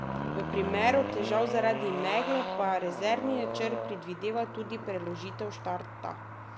V primeru težav zaradi megle pa rezervni načrt predvideva tudi preložitev štarta.